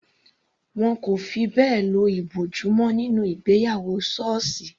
Wọn kò fi bẹ́ẹ̀ lo ìbòjú mọ́ nínú ìgbéyàwó sọọsi.